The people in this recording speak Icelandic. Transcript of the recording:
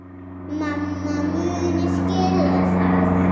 Mamma muni skilja það.